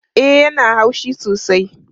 E, ya na haushi sosai